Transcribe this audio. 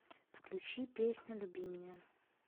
включи песня люби меня